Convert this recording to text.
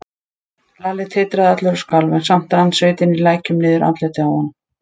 Lalli titraði allur og skalf, en samt rann svitinn í lækjum niður andlitið á honum.